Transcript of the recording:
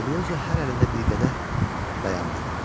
Elioza hər əlində bir qədəh dayandı.